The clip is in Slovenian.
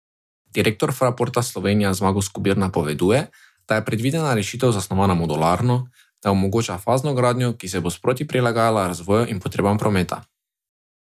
Direktor Fraporta Slovenija Zmago Skobir napoveduje, da je predvidena rešitev zasnovana modularno, da omogoča fazno gradnjo, ki se bo sproti prilagajala razvoju in potrebam prometa.